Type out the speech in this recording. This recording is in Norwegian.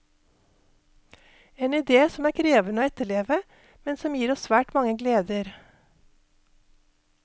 En idé som er krevende å etterleve, men som gir oss svært mange gleder.